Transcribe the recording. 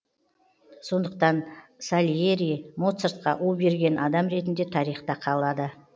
сондықтан сальери моцартқа у берген адам ретінде тарихта қалады